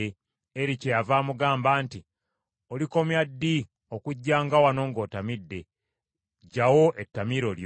Eri kyeyava amugamba nti, “Olikomya ddi okujjanga wano ng’otamidde? Ggyawo ettamiiro lyo.”